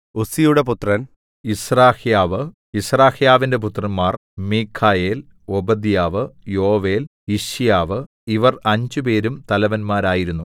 ഉസ്സിയുടെ പുത്രൻ യിസ്രഹ്യാവ് യിസ്രഹ്യാവിന്റെ പുത്രന്മാർ മീഖായേൽ ഓബദ്യാവ് യോവേൽ യിശ്യാവ് ഇവർ അഞ്ചുപേരും തലവന്മാരായിരുന്നു